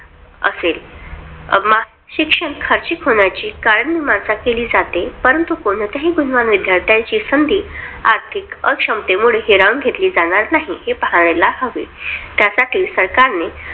असेल. शिक्षण खर्चिक कायम मीमांसा केली जाते. परंतु कोणत्याही गुणवान विद्यार्थ्यांची संधी आर्थिक क्षमतेते हिरावून घेतली जाणार नाही. हे पाहायला हवे त्यासाठी सरकारने